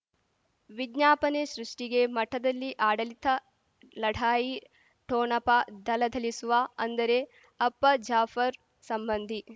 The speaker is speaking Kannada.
ವಿಜ್ಞಾಪನೆ ಸೃಷ್ಟಿಗೆ ಮಠದಲ್ಲಿ ಆಡಳಿತ ಲಢಾಯಿ ಠೊಣಪ ಥಳಥಳಿಸುವ ಅಂದರೆ ಅಪ್ಪ ಜಾಫರ್ ಸಂಬಂಧಿ